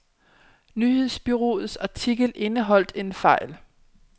Nyhedsbureauets artikel indeholdt en fejl.